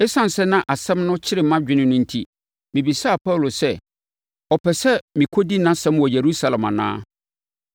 Esiane sɛ na asɛm no kyere mʼadwene no enti, mebisaa Paulo sɛ ɔpɛ sɛ mekɔdi nʼasɛm wɔ Yerusalem anaa?